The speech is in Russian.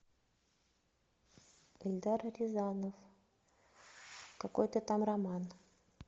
эльдар рязанов какой то там роман